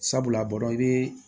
Sabula a b'a dɔn i be